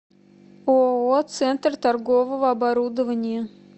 ооо центр торгового оборудования